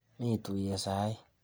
Mi tuiyet saii.